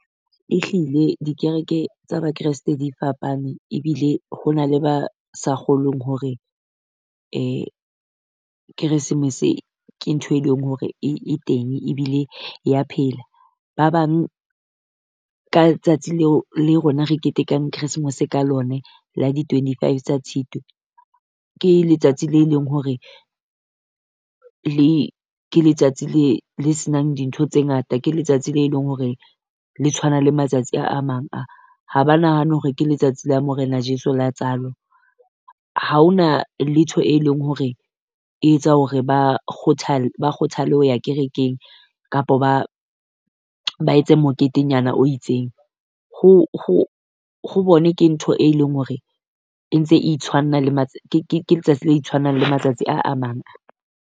Ehlile di kereke tsa ba Kresete di fapane, ebile ho na le ba sa kgolweng hore Keresemese ke ntho e leng hore e e teng ebile ya phela. Ba bang ka tsatsi leo le rona re ketekang Christmas ka lona, la di twenty-five tsa Tshitwe. Ke letsatsi le leng hore le ke letsatsi le le se nang dintho tse ngata, ke letsatsi le leng hore le tshwana le matsatsi a a mang a. Ha ba nahane hore ke letsatsi la morena Jesu la tsalo. Ha o na letho e leng hore e etsa hore ba ba kgothale ho ya kerekeng, kapo ba ba etse moketenyana o itseng ho ho ho bone ke ntho e leng hore e ntse e itshwanna le ke ke ke letsatsi le itshwannang le matsatsi a amang a.